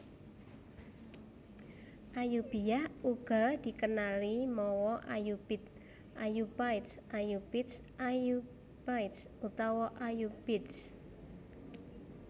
Ayyubiyyah uga dikenali mawa Ayyubid Ayoubites Ayyoubites Ayoubides utawané Ayyoubides